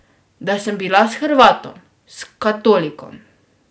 Da sem bila s Hrvatom, s katolikom.